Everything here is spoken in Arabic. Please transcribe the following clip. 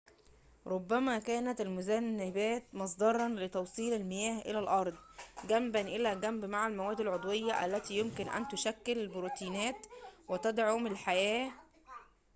ربما كانت المذنبات مصدراً لتوصيل المياه إلى الأرض جنباً إلى جنب مع المواد العضوية التي يمكن أن تشكل البروتينات وتدعم الحياة